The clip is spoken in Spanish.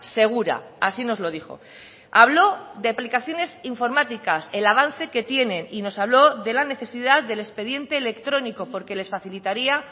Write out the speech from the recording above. segura así nos lo dijo habló de aplicaciones informáticas el avance que tienen y nos habló de la necesidad del expediente electrónico porque les facilitaría